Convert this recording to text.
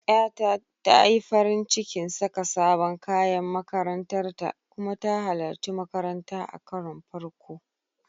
Ƴata ta yi farin cikin saka sabon kayan makarantar ta kuma ta halarci makaranta a karon farko.